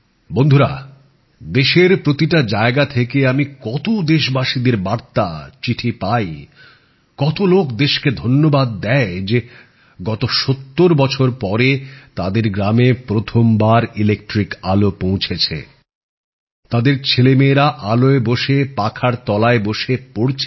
বন্ধুরা দেশের প্রতিটি জায়গা থেকে আমি কতো দেশবাসীদের বার্তা চিঠি পাই কতো লোক দেশকে ধন্যবাদ দেয় যে ৭০ বছর পরে তাদের গ্রামে প্রথম বার বিদ্যুতের আলো পৌঁছেছে তাদের ছেলে মেয়েরা আলোয় বসে পাখার তলায় বসে পড়ছে